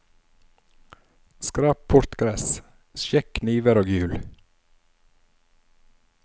Skrap bort gress, sjekk kniver og hjul.